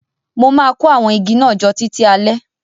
Mo má kó àwon igi náà jo títí alẹ́